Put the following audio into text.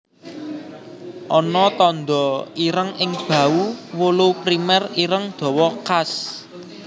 Ana tanda ireng ing bahu wulu primer ireng dawa khas